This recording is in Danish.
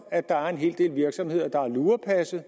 at der er en hel del virksomheder der har lurepasset og